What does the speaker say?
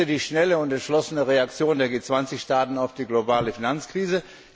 Ich begrüße die schnelle und entschlossene Reaktion der G20 Staaten auf die globale Finanzkrise.